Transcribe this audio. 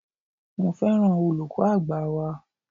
Mo féràn olùkọ́ àgbà wa.